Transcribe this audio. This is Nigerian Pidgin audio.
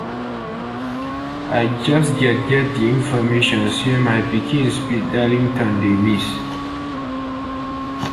i just get get di information say my pikin speed darlington dey miss